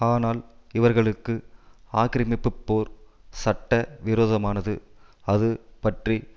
ஆனால் இவர்களுக்கு ஆக்கிரமிப்பு போர் சட்ட விரோதமனது அது பற்றி